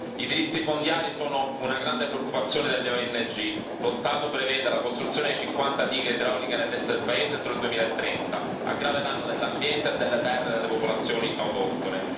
I diritti fondiari sono una grande preoccupazione delle ONG, lo Stato prevede la costruzione di cinquanta dighe idrauliche nell'Est del paese entro il 2030 a grave a danno dell'ambiente e delle terre delle popolazioni autoctone.